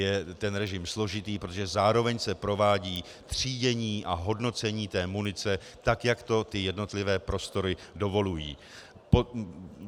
Je ten režim složitý, protože zároveň se provádí třídění a hodnocení té munice, tak jak to ty jednotlivé prostory dovolují.